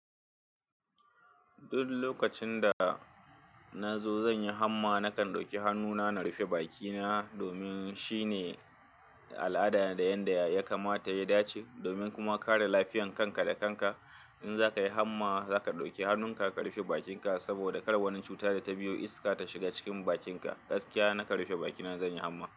Duk lokacin da na zo zan yi hamma, nakan ɗauki hannuna na rufe bakina domin shine al'ada da yanda ya kamata ya dace, domin kuma kare lafiyan kanka da kanka. In za ka yi hamma za ka ɗauki hannunka ka rufe bakinka saboda kar wani cuta da ta biyo iska ta shiga cikin bakinka. Gaskiya na rufe bakina zan yi hamma.